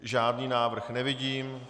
Žádný návrh nevidím.